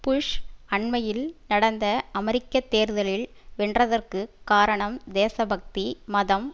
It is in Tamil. புஷ் அண்மையில் நடந்த அமெரிக்க தேர்தலில் வென்றதற்கு காரணம் தேசபக்தி மதம்